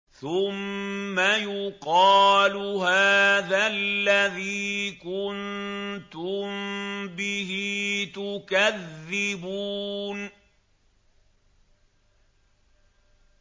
ثُمَّ يُقَالُ هَٰذَا الَّذِي كُنتُم بِهِ تُكَذِّبُونَ